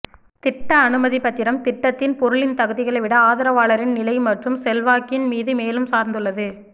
திட்ட அனுமதிப்பத்திரம் திட்டத்தின் பொருளின் தகுதிகளை விட ஆதரவாளரின் நிலை மற்றும் செல்வாக்கின் மீது மேலும் சார்ந்துள்ளது